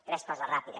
tres coses ràpides